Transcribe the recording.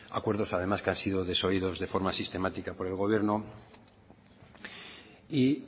acuerdos además que han sido desoídos de forma sistemática por el gobierno y